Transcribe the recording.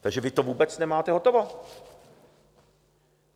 Takže vy to vůbec nemáte hotovo.